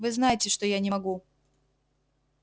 вы знаете что я не могу